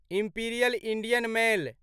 imperial Indian mail